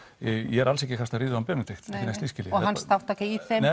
ég er alls ekki að lasta hann Benedikt ekkert slíkt h og hans þátttaka í þeim